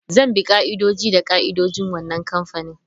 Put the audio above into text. Zan bi ka'idoji da ka'idojin wannan kamfani.